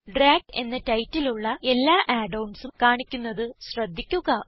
drag എന്ന title ഉള്ള എല്ലാ add onsഉം കാണിക്കുന്നത് ശ്രദ്ധിക്കുക